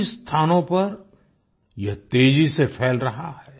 कई स्थानों पर यह तेजी से फैल रहा है